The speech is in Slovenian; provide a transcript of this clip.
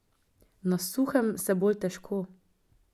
Na suhem se bolj težko.